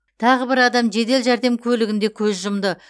тағы бір адам жедел жәрдем көлігінде көз жұмды